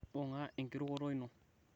bunga ekirukoto ino